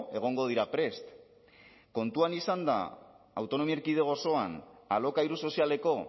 egongo dira prest kontuan izanda autonomia erkidego osoan alokairu sozialeko